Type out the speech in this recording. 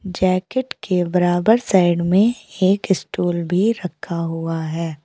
Jacket के बराबर side में एक स्टूल भी रखा हुआ है।